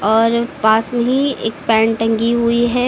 और पास में ही एक पैंट टंगी हुई है।